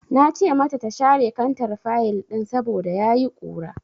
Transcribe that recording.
Na ce mata ta share kantar fayil ɗin saboda ya yi ƙura.